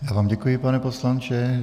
Já vám děkuji, pane poslanče.